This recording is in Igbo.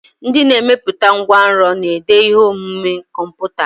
Ndị na-emepụta ngwanrọ na-ede ihe omume kọmputa.